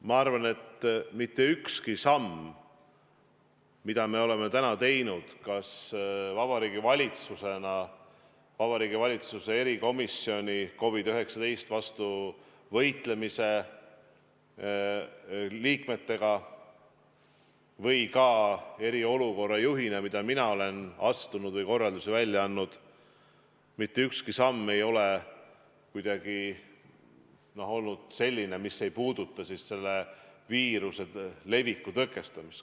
Ma arvan, et mitte ükski samm, mida me oleme täna teinud kas Vabariigi Valitsuses või Vabariigi Valitsuse COVID-19 vastu võitlemise erikomisjoni liikmetega, või need sammud, mida mina eriolukorra juhina olen astunud või mis korraldusi välja andnud, mitte ükski neist ei ole kuidagi olnud selline, mis ei puuduta selle viiruse leviku tõkestamist.